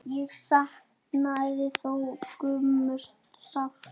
Ég saknaði þó Gumma sárt.